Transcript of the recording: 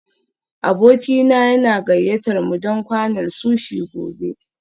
Abokina yana gayyatar mu don kwanan sushi gobe